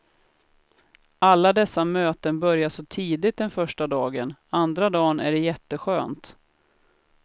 Alla dessa möten börjar så tidigt den första dagen, andra dagen är det jätteskönt.